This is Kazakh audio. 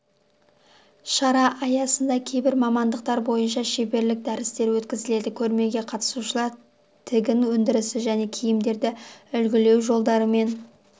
шара аясында кейбір мамандықтар бойынша шеберлік дәрістері өткізіледі көрмеге қатысушылар тігін өндірісі және киімдерді үлгілеу жолдарымен